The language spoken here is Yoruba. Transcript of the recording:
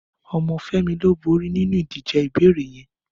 Ọmọ Femi ló bóri ninú idijé ìbéréé yèn